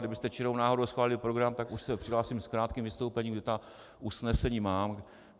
Kdybyste čirou náhodou schválili program, tak už se přihlásím s krátkým vystoupením, kde ta usnesení mám.